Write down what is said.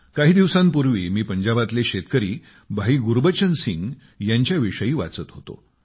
काही दिवसांपूर्वी मी पंजाबातले शेतकरी भाई गुरबचन सिंग यांच्याविषयक वाचत होतो